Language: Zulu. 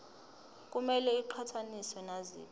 kumele iqhathaniswe naziphi